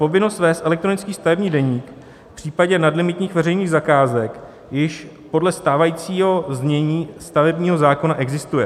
Povinnost vést elektronický stavební deník v případně nadlimitních veřejných zakázek již podle stávajícího znění stavebního zákona existuje.